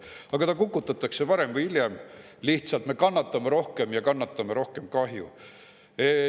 Aga ta kukutatakse varem või hiljem, lihtsalt me kannatame rohkem ja kannatame rohkem kahju.